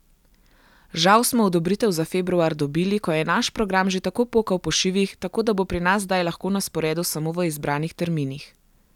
Žal smo odobritev za februar dobili, ko je naš program že tako pokal po šivih, tako da bo pri nas zdaj lahko na sporedu samo v izbranih terminih.